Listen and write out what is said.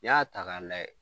n'i y'a ta ka lajɛ